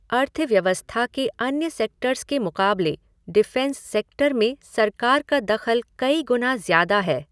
अर्थव्यवस्था के अन्य सेक्टर्स के मुक़ाबले डिफेंस सेक्टर में सरकार का दख़ल कई गुना ज़्यादा है।